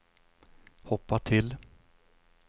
hoppa till